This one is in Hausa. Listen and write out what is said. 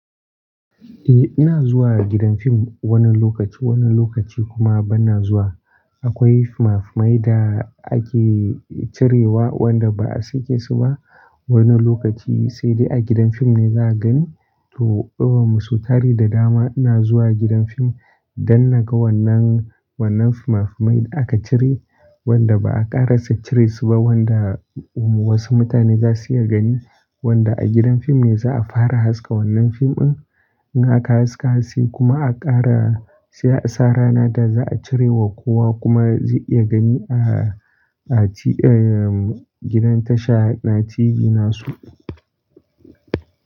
Eh ina zuwa gidan fim wani lokaci, wani lokaci kuma bana zuwa. Akwai fina finai da ake cirewa wanda ba a sake su ba wani lokaci sai dai a gidan fim ne za a gani. To, don su tare da dama ina zuwa gidan fim don naga wannan fimafimai da aka cire wanda ba a ƙarasa cire su ba wanda wasu mutane za su iya gani wanda a gidan fim ne za a fara haska wannan fim din. In aka haska sai kuma aka ƙara sa ranar da za a cire wa kowa kuma zai iya gani a gidan tasha na TV nasu.